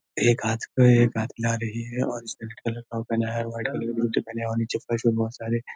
एक हाथ पे एक आ रही है और उसने रेड कलर का पहना है और नीचे फर्श पर बहोत सारे--